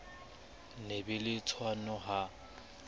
ho be le tshwano ha